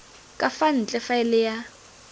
ka fa ntle faele ya